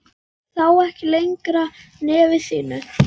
Sá ekki lengra nefi sínu.